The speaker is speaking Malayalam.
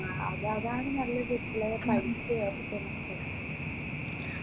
ആ അതാതാണ് നല്ലത് ഇപ്പോയെ പഠിച്ച്